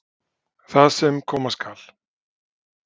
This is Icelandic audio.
Það sem koma skal